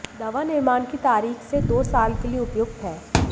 दवा निर्माण की तारीख से दो साल के लिए उपयुक्त है